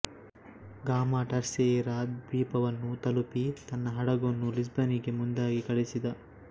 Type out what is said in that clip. ಗಾಮ Terceira ದ್ವೀಪವನ್ನು ತಲುಪಿ ತನ್ನ ಹಡಗನ್ನು ಲಿಸ್ಬನಿಗೆ ಮುಂದಾಗಿ ಕಳಿಸಿದ